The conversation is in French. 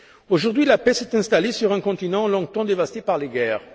Aujourd'hui, la paix s'est installée sur un continent longtemps dévasté par les guerres.